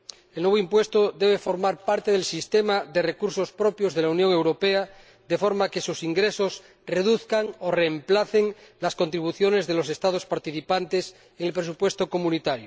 El nuevo impuesto debe formar parte del sistema de recursos propios de la Unión Europea, de forma que sus ingresos reduzcan o reemplacen las contribuciones de los Estados participantes en el presupuesto de la Unión.